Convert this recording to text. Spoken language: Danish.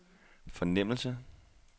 fornemmelse